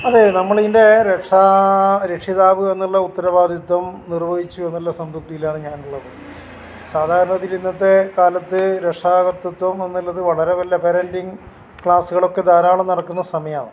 അത് നമ്മളിതിൻ്റെ രക്ഷാ രക്ഷിതാവ് എന്നുള്ള ഉത്തരവാദിത്വം നിർവഹിച്ചു എന്നുള്ള സംതൃപ്തിയിലാണ് ഞാൻ ഉള്ളത്. സാധാരണ ഇതിൽ ഇന്നത്തെ കാലത്ത് രക്ഷാകർത്വത്വം എന്നുള്ളത് വളരെ വല്ല പാരന്റിംഗ് ക്ലാസുകൾ ഒക്കെ ധാരാളം നടക്കുന്ന സമയാണ്